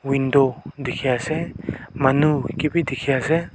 window dikhi ase manu kebi dikhi ase.